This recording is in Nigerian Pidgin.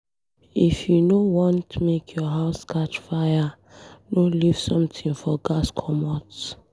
If you no want make your house catch fire, no leave something for gas commot.